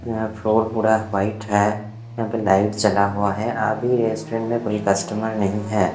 यहाँ फ्लोर पूरा वाइट है यहाँ पर लाइट जला हुआ है अभी रेस्टोरेंट में कोई कस्टमर नहीं है।